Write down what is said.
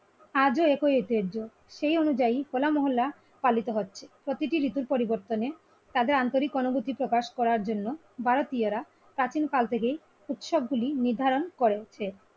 আজও একই ঐতিহ্য সেই অনুযায়ী হো লামহল্লা পালিত হচ্ছে প্রতিটি ঋতুর পরিবর্তনে তাদের আন্তরিক অনুভুতি প্রকাশ করার জন্য ভারতীয়রা প্রাচীন কাল থেকে উৎসব গুলি নির্ধারিত করেছেন।